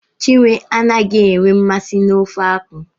Chinwe anaghị enwe nmasị n'ofe akwụ.